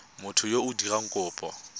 motho yo o dirang kopo